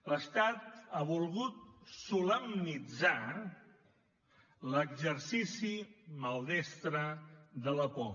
l’estat ha volgut solemnitzar l’exercici maldestre de la por